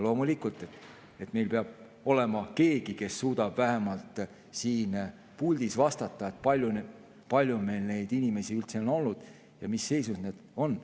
Loomulikult, meil peab olema keegi, kes suudab vähemalt siin puldis vastata, kui palju meil neid inimesi üldse on olnud ja mis seisus nad on.